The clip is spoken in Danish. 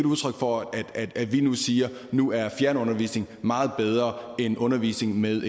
udtryk for at vi nu siger at nu er fjernundervisning meget bedre end undervisning med